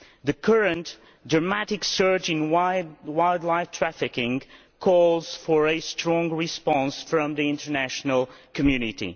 The current dramatic surge in wildlife trafficking calls for a strong response from the international community.